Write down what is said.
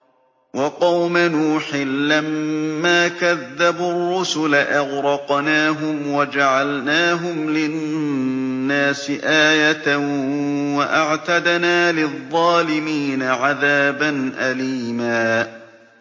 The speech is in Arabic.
وَقَوْمَ نُوحٍ لَّمَّا كَذَّبُوا الرُّسُلَ أَغْرَقْنَاهُمْ وَجَعَلْنَاهُمْ لِلنَّاسِ آيَةً ۖ وَأَعْتَدْنَا لِلظَّالِمِينَ عَذَابًا أَلِيمًا